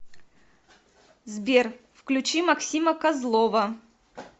сбер включи максима козлова